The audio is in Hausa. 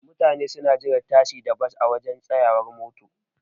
Mutane suna jiran tasi da Bas a waje tsayawar mota.